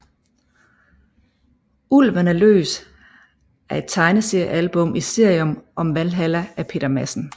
Ulven er løs er et tegneseriealbum i serien om Valhalla af Peter Madsen